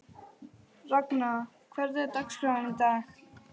Ragna, hvernig er dagskráin í dag?